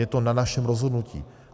Je to na našem rozhodnutí.